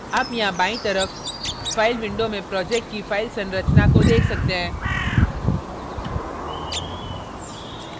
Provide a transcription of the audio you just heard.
आप यहाँ बाईं तरफ फ़ाइल window में project की file संरचना को देख सकते हैं